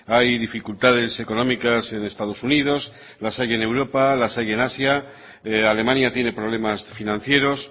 hay dificultades económicas en estados unidos las hay en europa las hay en asia alemania tiene problemas financieros